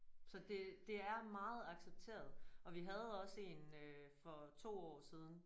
Så det det er meget accepteret og vi havde også en øh for 2 år siden